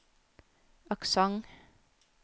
aksent